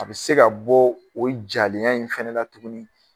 A bɛ se ka bɔ o jalenya in fɛnɛ la tuguni